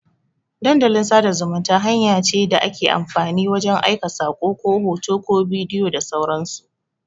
Dandalin sada zumunta hanya ce da ake amfani wajan aika sako, ko hoto, ko bidiyo da sauran su